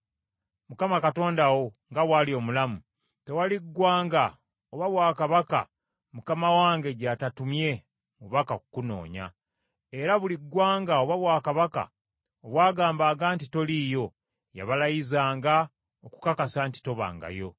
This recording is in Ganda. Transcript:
Mukama Katonda wo nga bw’ali omulamu, tewali ggwanga oba bwakabaka mukama wange gy’atatumye mubaka kukunoonya. Era buli ggwanga, oba bwakabaka obwagambanga nti toliiyo, yabalayizanga okukakasa nti tobangayo.